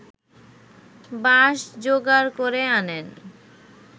বাঁশ যোগাড় করে আনেন